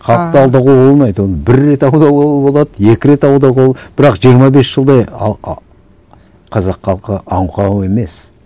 халықты алдауға болмайды оны бір рет алдауға болады екі рет алдауға бірақ жиырма бес жылдай қазақ халқы аңқау емес